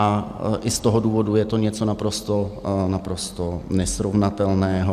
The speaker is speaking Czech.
A i z tohoto důvodu je to něco naprosto nesrovnatelného.